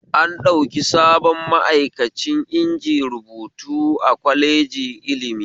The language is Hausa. An ɗauki sabon ma'aikani inji rubutu a kwaleji ilimi